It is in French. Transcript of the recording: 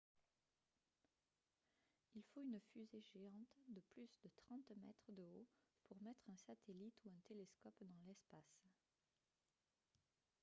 il faut une fusée géante de plus de 30 mètres de haut pour mettre un satellite ou un télescope dans l'espace